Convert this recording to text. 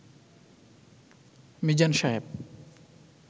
Mizan Saheb